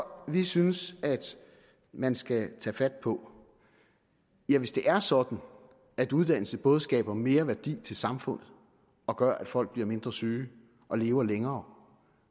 vi synes man skal tage fat på ja hvis det er sådan at uddannelse både skaber mere værdi til samfundet og gør at folk bliver mindre syge og lever længere